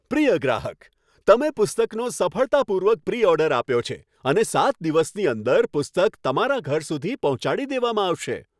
પ્રિય ગ્રાહક! તમે પુસ્તકનો સફળતાપૂર્વક પ્રી ઓર્ડર આપ્યો છે અને સાત દિવસની અંદર પુસ્તક તમારા ઘર સુધી પહોંચાડી દેવામાં આવશે.